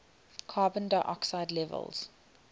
carbon dioxide levels